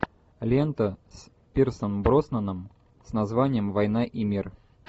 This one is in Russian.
лента с пирсом броснаном с названием война и мир